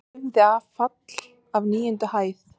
Lifði af fall af níundu hæð